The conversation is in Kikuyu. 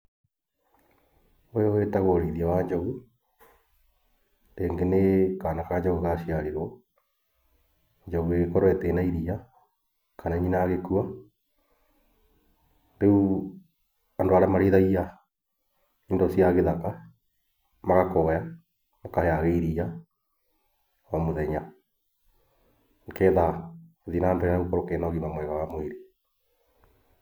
Ũyũ wĩtagwo ũrĩithia wa njogu, rĩngĩ nĩ kana ka njogu gacĩarirwo, njogu ĩgĩkorwo ĩtirĩ na iria, kana nyina agĩkua, rĩu andũ arĩa marĩithagia indo cia gĩthaka magakũgaya, ũkaheage iria o mũthenya, nĩgetha gũthiĩ nambere gũkorwo kena ũgima mwega wa mwĩrĩ.